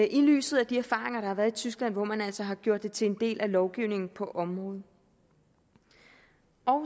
i lyset af de erfaringer der har været i tyskland hvor man altså har gjort det til en del af lovgivningen på området